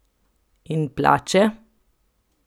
In plače?